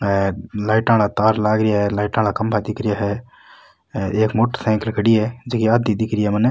लाइटा वाला तार लग रिया है लाइटा वाला खम्भा दिख रिया है एक मोटरसाइकल खड़ी है जकी आधी दिखरी है मने।